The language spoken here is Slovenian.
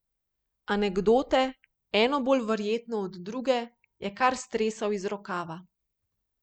Anekdote, eno bolj neverjetno od druge, je kar stresal iz rokava.